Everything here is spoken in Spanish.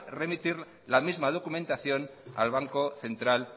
remitir la misma documentación al banco central